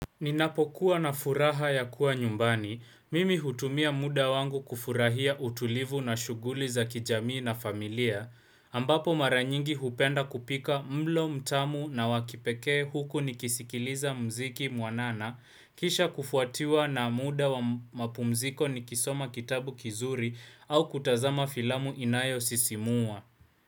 Ninapokuwa na furaha ya kuwa nyumbani, mimi hutumia muda wangu kufurahia utulivu na shughuli za kijamii na familia, ambapo mara nyingi hupenda kupika mlo mtamu na wa kipekee huku nikisikiliza muziki mwanana, kisha kufuatiwa na muda wa mapumziko nikisoma kitabu kizuri au kutazama filamu inayosisimua.